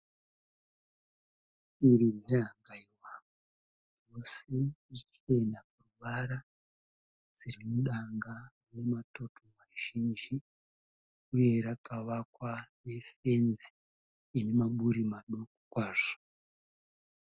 Shiri dzehangaiwa dzose ichena paruvara. Dziri mudanga rine matoto mazhinji uye rakavakwa nefenzi ine maburi maduku kwazvo.